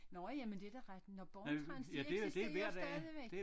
Nå ja men det da ret nå Born-Trans det eksitserer stadigvæk!